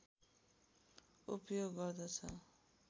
उपयोग गर्दछ